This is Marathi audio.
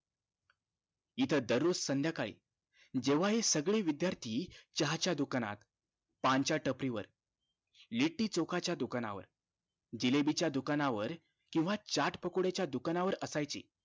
इथं दररोज संध्याकाळी जेंव्हा हे सगळे विद्यार्थी चहाच्या दुकानात, पान च्या टपरी वर, लेटीचोका च दुकानावर, जिलेबी च दुकानावर, केंव्हा चाट पकोडे च दुकानावर असायचे